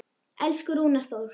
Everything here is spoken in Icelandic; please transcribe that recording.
Elsku Rúnar Þór.